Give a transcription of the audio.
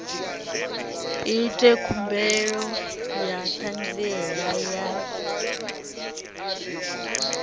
ite khumbelo ya ṱhanziela ya